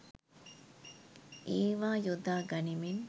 ඒවා යොදා ගනිමින්